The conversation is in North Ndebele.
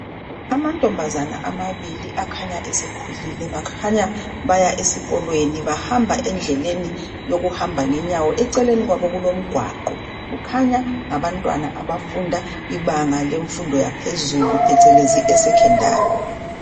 Amantombazane amabili akhanya esekhulile bakhanya baya esikolweni bahamba endleleni yokuhamba ngenyawo eceleni kwabo kulomgwaqo kukhanya ngabantwana abafunda ibanga lemfundo yaphezulu phecelezi e secondary.